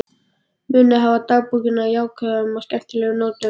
Munið að hafa dagbókina á jákvæðum og skemmtilegum nótum.